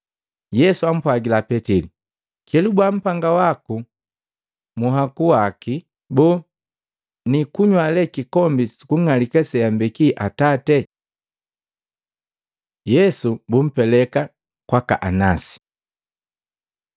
Yesu ampwagila Petili, “Kelubua mpamba waku munhaku waki. Boo niikunywa le kikombi sukung'alika seambeki Atate?” Yesu bumpeleka kwaka Anasi